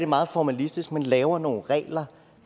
meget formalistisk laver nogle regler